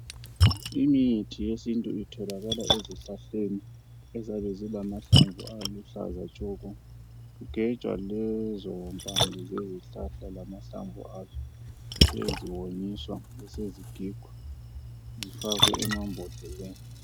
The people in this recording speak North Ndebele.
Imithi yesintu itholakala ezihlahleni eziyabe zilamahlamvu aluhlaza tshoko. Kugejwa lezo mpande zezihlahla lamahlamvu azo beseziwonyiswa besezigigwa zifakwe emambodleleni .